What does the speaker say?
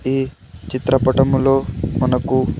ఈ చిత్రపటంలో మనకు.